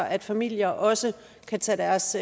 at familier også kan tage deres